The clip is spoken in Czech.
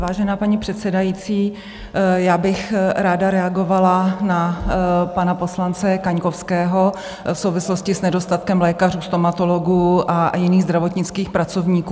Vážená paní předsedající, já bych ráda reagovala na pana poslance Kaňkovského v souvislosti s nedostatkem lékařů, stomatologů a jiných zdravotnických pracovníků.